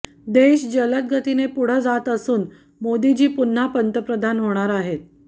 देश जलदगतीने पुढं जात असून मोदांजी पुन्हा पंतप्रधान होणार आहेत